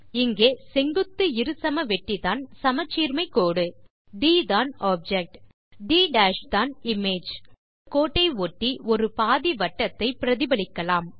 இங்கே செங்குத்து இருசமவெட்டிதான் சமச்சீர்மை கோடு ட் தான் ஆப்ஜெக்ட் ட் தான் இமேஜ் கோட்டை ஒட்டி ஒரு பாதிவட்டத்தை பிரதிபலிக்கலாம்